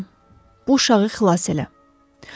“Tanrım, bu uşağı xilas elə.”